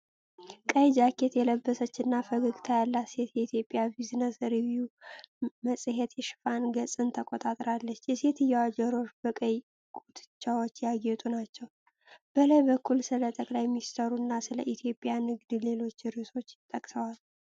ቀይ ጃኬት የለበሰች እና ፈገግታ ያላት ሴት የኢትዮጵያን ቢዝነስ ሪቪው መጽሄት የሽፋን ገፅን ተቆጣጥራለች። የሴትየዋ ጆሮዎች በቀይ ጉትቻዎች ያጌጡ ናቸው። በላይ በኩል ስለ ጠቅላይ ሚኒስትሩ እና ስለ ኢትዮጵያ ንግድ ሌሎች ርዕሶች ተጠቅሰዋል።